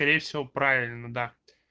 скорее всего правильно да